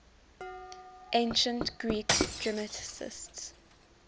ancient greek dramatists